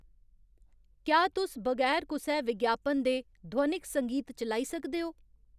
क्या तुस बगैर कुसै विज्ञापन दे ध्वनिक संगीत चलाई सकदे ओ